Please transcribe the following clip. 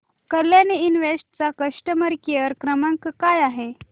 Kalyani invest चा customer care क्रमांक काय आहे